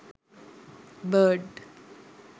bird